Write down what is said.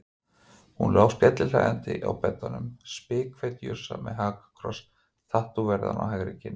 Hún lá skellihlæjandi á beddanum, spikfeit jússa með hakakross tattóveraðan á hægri kinn.